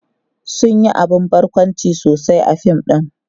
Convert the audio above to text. sun Yi abun barkwanci sosai a fim ɗin